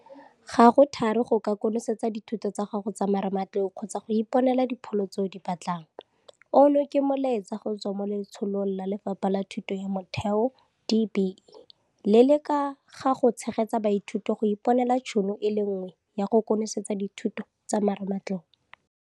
Ga go thari go ka konosetsa dithuto tsa gago tsa marematlou kgotsa go iponela dipholo tse o di batlang, ono ke molaetsa go tswa mo Letsholong la Lefapha la Thuto ya Motheo, DBE, le le ka ga go Tshegetsa Baithuti go Iponela Tšhono e Nngwe ya go Konosetsa Dithuto tsa marematlou.